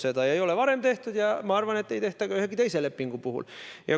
Seda ei ole varem tehtud ja ma arvan, et ei tehta ka ühegi teise lepingu puhul.